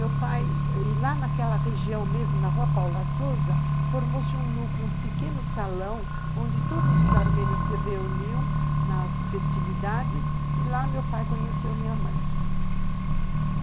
Meu pai... E lá naquela região mesmo, na Rua Paula Sousa, formou-se um núcleo, um pequeno salão, onde todos os armênios se reuniam nas festividades, e lá meu pai conheceu minha mãe.